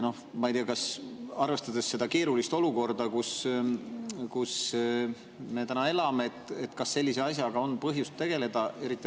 Ma ei tea, arvestades seda keerulist olukorda, kus me elame, kas sellise asjaga on põhjust tegelda.